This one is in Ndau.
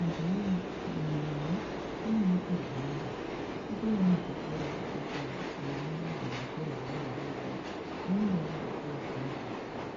Antu wee, imwi nai kunyari kuRwanda kutoriwo nezvikora zvekuti vana vabva kuzvikora zvevana adodori, voendawo kuzvikora zvevantu vakuru